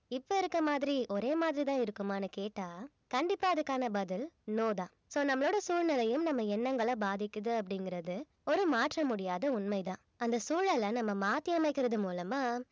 இப்ப இருக்க மாதிரி ஒரே மாதிரிதான் இருக்குமான்னு கேட்டா கண்டிப்பா அதுக்கான பதில் no தான் so நம்மளோட சூழ்நிலையும் நம்ம எண்ணங்கள பாதிக்குது அப்படிங்கிறது ஒரு மாற்ற முடியாத உண்மைதான் அந்த சூழல நம்ம மாத்தி அமைக்கறது மூலமா